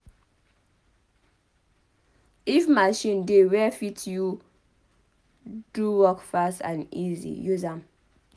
If machine dey wey fit help you do work fast and easy use am